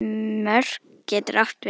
Mörk getur átt við